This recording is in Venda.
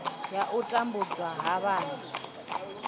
ya u tambudzwa ha vhana